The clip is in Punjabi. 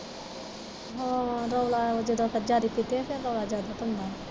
ਹਾਂ ਰੋਲਾ ਇਹੋ ਕਿ ਰੌਲਾ ਜਿਆਦਾ ਪਾਉਂਦਾ ਹੈ।.